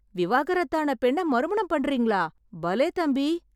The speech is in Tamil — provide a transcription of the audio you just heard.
விவாகரத்தான பெண்ண மறுமணம் பண்றீங்களா, பலே தம்பி!